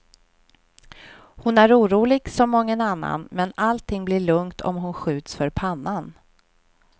Hon är orolig som mången annan, men allting blir lugnt om hon skjuts för pannan.